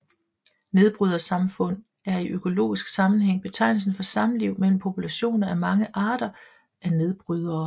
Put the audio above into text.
Nedbrydersamfund er i økologisk sammenhæng betegnelsen for samliv mellem populationer af mange arter af nedbrydere